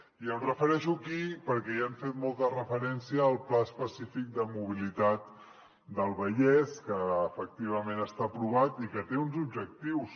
i em refereixo aquí perquè hi han fet molta referència al pla específic de mobilitat del vallès que efectivament està aprovat i que té uns objectius